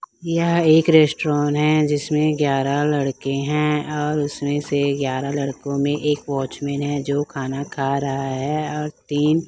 यह एक रेस्टोरेंन हैं जिसमें ग्यारह लड़के हैं और उसमें से ग्यारह लड़कों में एक वॉचमेन हैं जो खाना खा रहा हैं और तीन--